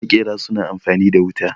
makera suna amfani da wuta